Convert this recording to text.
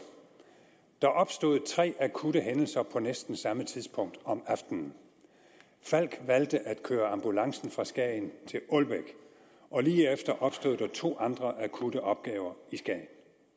der opstod tre akutte hændelser på næsten samme tidspunkt om aftenen falck valgte at køre ambulancen fra skagen til ålbæk og lige efter opstod der to andre akutte opgaver i skagen